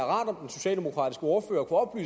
om om den socialdemokratiske ordfører og